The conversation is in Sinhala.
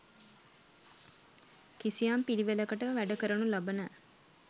කිසියම් පිළිවෙළකට වැඩ කරනු ලබන